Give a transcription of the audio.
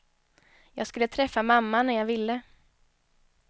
Jag skulle träffa mamma när jag ville.